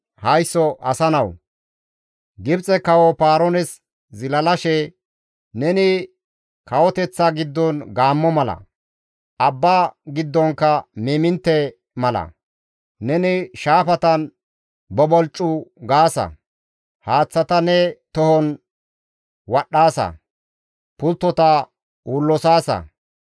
«Haysso asa nawu! Gibxe kawo Paaroones zilalashe, « ‹Neni kawoteththa giddon gaammo mala; abba giddonkka miimintte mala; neni shaafatan bobolccu gaasa; haaththata ne tohon wadhdhaasa; pulttota uullosaasa.